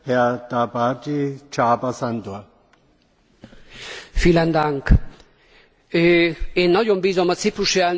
Én nagyon bízom a ciprusi elnökségben, bár a feladata rendkívül nehéz lesz a többéves költségvetéssel kapcsolatosan.